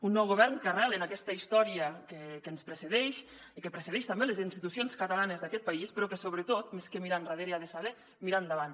un nou govern que arrela en aquesta història que ens precedeix i que precedeix també les institucions catalanes d’aquest país però que sobretot més que mirar enrere ha de saber mirar endavant